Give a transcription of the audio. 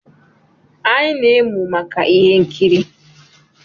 Anyị na-emu maka ihe nkiri